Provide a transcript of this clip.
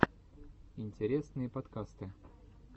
интересные подкасты